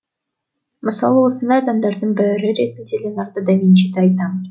мысалы осындай адамдардың бірі ретінде леонардо да винчиді айтамыз